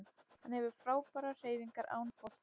Hann hefur frábærar hreyfingar án bolta